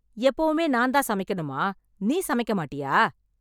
எப்பவுமே நான் தான் சமைக்கணுமா நீ சமைக்க மாட்டியா?